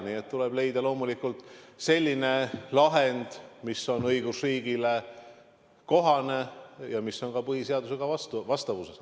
Nii et tuleb leida loomulikult selline lahend, mis on õigusriigile kohane ja mis on ka põhiseadusega vastavuses.